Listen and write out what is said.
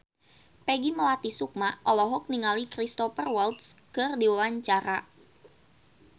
Peggy Melati Sukma olohok ningali Cristhoper Waltz keur diwawancara